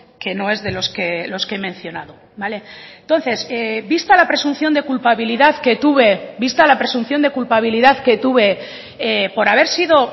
que no es de los que he mencionado vale entonces vista la presunción de culpabilidad que tuve vista la presunción de culpabilidad que tuve por haber sido